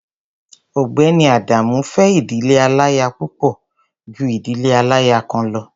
Ọ̀gbẹ́ni Adamu fẹ́ ìdílé aláya púpọ̀ ju ìdílé aláya kan lọ.